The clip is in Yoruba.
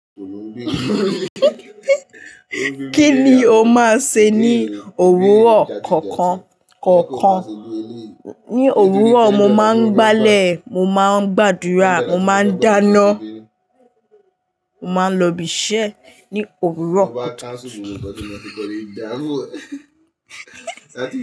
Kí ni o máa ń ṣe ní òwúrọ̀ kọ̀ọ̀kan? Ní òwúrọ̀, mo máa ń báálẹ̀, mo máa ń gbàdúrà, mo máa ń dáná, mo máa ń lọ ibi iṣẹ́ ní òwúrọ̀ kọ̀ọ̀kan.